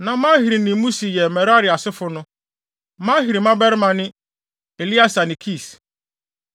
Na Mahli ne Musi yɛ Merari asefo no. Mahli mmabarima ne Eleasar ne Kis.